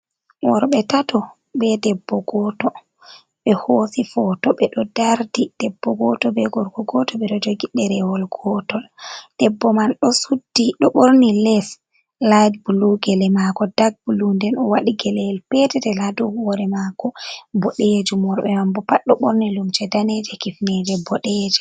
Worbe tato be debbo goto ɓe hosi foto ɓe ɗo dardi debbo goto be gorko goto ɓe ɗo jogi ɗerewol gotol debbo man do suddi ɗo ɓorni les lit bulu gele mako dag bulu nden o waɗi gelel el petetel ha dau hore mako bodejum, worbe mambo pat ɗo ɓorni limse daneje kifneje boɗejum.